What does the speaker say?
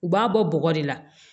U b'a bɔ bɔgɔ de la